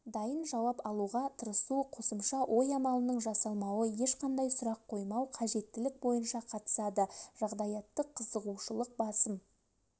дайын жауап алуға тырысу қосымша ой амалының жасалмауы ешқашан сұрақ қоймау қажеттілік бойынша қатысады жағдаяттық қзығушылық басым